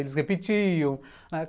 Eles repetiam.